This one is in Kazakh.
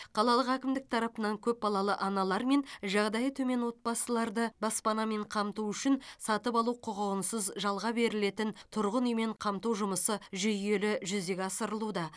қалалық әкімдік тарапынан көпбалалы аналар мен жағдайы төмен отбасыларды баспанамен қамту үшін сатып алу құқығынсыз жалға берілетін тұрғын үймен қамту жұмысы жүйелі жүзеге асырылуда